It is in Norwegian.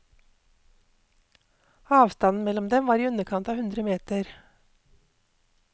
Avstanden mellom dem var i underkant av hundre meter.